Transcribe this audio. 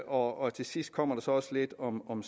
og til sidst kom der så også lidt om om